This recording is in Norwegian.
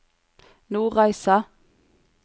Nordreisa